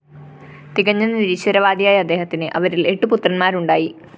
തികഞ്ഞ നിരീശ്വരവാദിയായ അദ്ദേഹത്തിന് അവരില്‍ എട്ടുപുത്രന്മാരുണ്ടായി